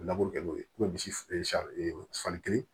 Laburu kɛ n'o ye misi sanni kelen